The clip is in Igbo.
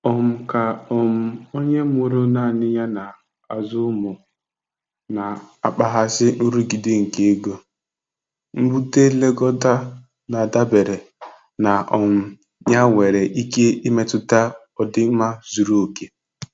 um Ka um onye mụrụ nanị ya na-azụ ụmụ na-akpaghasị nrụgide nke ego, mbute nlekọta na-adabere na um ya nwere ike imetụta ọdịmma zuru oke.